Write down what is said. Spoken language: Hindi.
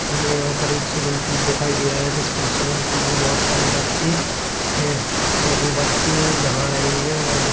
हमे यहाँ पर एक स्विमिंग पूल दिखाई दे रहा है जिसमें स्विमिंग पूल मे बहुत सारे बच्चें है और वो बच्चें नहा रहे है और...